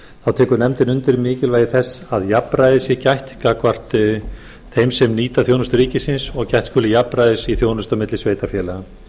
þá tekur nefndin undir mikilvægi þess að jafnræðis sé gætt gagnvart þeim sem nýta þjónustu ríkisins og að gætt skuli jafnræðis í þjónustu milli sveitarfélaga